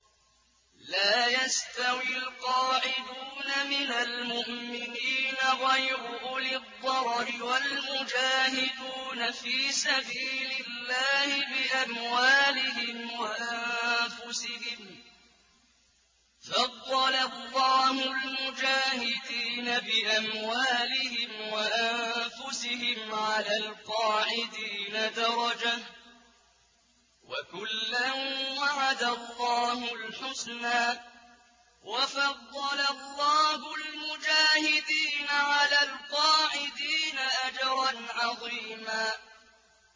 لَّا يَسْتَوِي الْقَاعِدُونَ مِنَ الْمُؤْمِنِينَ غَيْرُ أُولِي الضَّرَرِ وَالْمُجَاهِدُونَ فِي سَبِيلِ اللَّهِ بِأَمْوَالِهِمْ وَأَنفُسِهِمْ ۚ فَضَّلَ اللَّهُ الْمُجَاهِدِينَ بِأَمْوَالِهِمْ وَأَنفُسِهِمْ عَلَى الْقَاعِدِينَ دَرَجَةً ۚ وَكُلًّا وَعَدَ اللَّهُ الْحُسْنَىٰ ۚ وَفَضَّلَ اللَّهُ الْمُجَاهِدِينَ عَلَى الْقَاعِدِينَ أَجْرًا عَظِيمًا